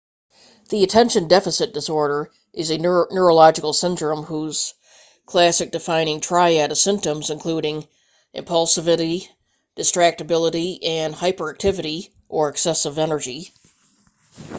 attention deficit disorder is a neurological syndrome whose classic defining triad of symptoms including impulsivity distractibility and hyperactivity or excess energy